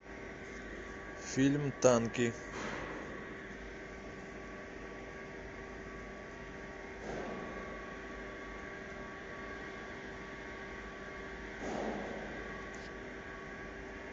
фильм танки